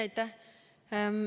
Aitäh!